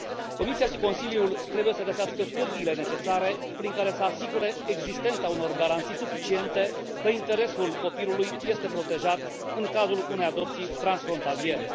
Comisia și Consiliul trebuie să găsească pârghiile necesare prin care să asigure existența unor garanții suficiente că interesul copilului este protejat în cazul unei adopții transfrontaliere.